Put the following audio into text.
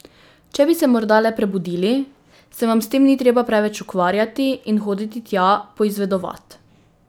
Če bi se morda le prebudili, se vam s tem ni treba preveč ukvarjati in hoditi tja poizvedovat.